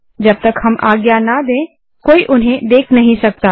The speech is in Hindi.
जब तक हम आज्ञा न दें कोई उन्हें देख नहीं सकता